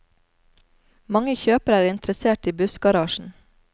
Mange kjøpere er interessert i bussgarasjen.